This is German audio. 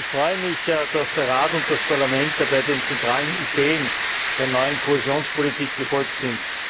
Ich freue mich, dass der Rat und das Parlament dabei den zentralen Ideen der neuen Kohäsionspolitik gefolgt sind.